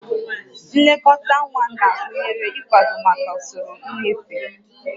Nlekọta nwa na-agụnye ịkwado maka usoro nnyefe